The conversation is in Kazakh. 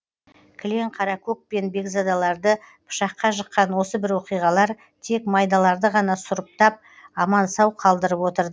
кілең қаракөк пен бекзадаларды пышаққа жыққан осы бір оқиғалар тек майдаларды ғана сұрыптап аман сау қалдырып отырды